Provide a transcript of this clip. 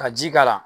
Ka ji k'a la